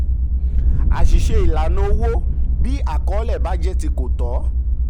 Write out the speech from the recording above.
àṣìṣe ìlànà owó: bí àkọlé àkọlé bá jẹ ti kò tọ́.